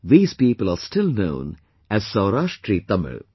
These people are still known as 'Saurashtri Tamil'